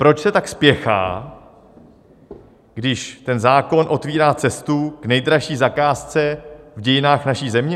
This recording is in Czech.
Proč se tak spěchá, když ten zákon otevírá cestu k nejdražší zakázce v dějinách naší země?